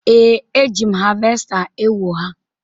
Ee, eji m havesta ewo ha